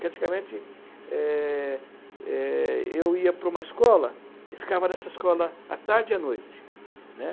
Praticamente, é é eu ia para uma escola e ficava nessa escola à tarde e à noite. Uhum. Né?